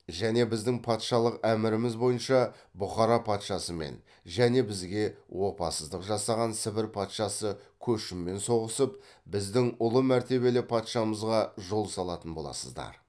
және біздің патшалық әміріміз бойынша бұқара патшасымен және бізге опасыздық жасаған сібір патшасы көшіммен соғысып біздің ұлы мәртебелі патшамызға жол салатын боласыздар